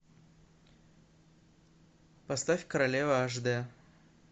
поставь королева аш д